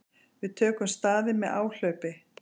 Við tökum staðinn með áhlaupi.